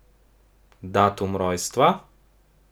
Datum rojstva?